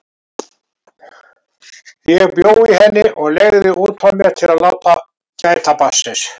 Ég bjó í henni og leigði út frá mér til að láta gæta barnsins.